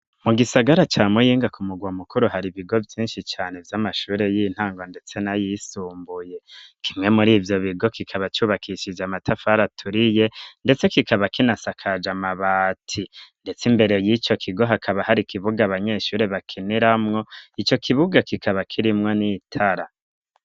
Mu gisagara ca Muyinga ku murwa mukuru hari ibigo vyinshi cane vy'amashuri y'intango ndetse na yisumbuye kimwe murivyo bigo kikaba cubakishije amatafari aturiye ndetse kikaba kinasakaje mabati ndetse imbere yico kigo hakaba hari ikibuga abanyeshuri bakiniramwo ico kibuga kikaba kirimwo n'itara.